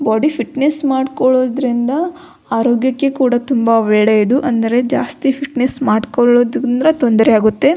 Body fitness ಮಾಡ್ಕೊಳೋದ್ರಿಂದ ಆರೋಗ್ಯಕ್ಕೆ ಕೂಡ ತುಂಬಾ ಒಳ್ಳೆಯದು ಅಂದ್ರೆ ಜಾಸ್ತಿ ಫಿಟ್ನೆಸ್ಸ್ ಮಾಡ್ಕೊಳೊದ್ರಿಂದ ತೊಂದರೆ ಆಗುತ್ತದೆ.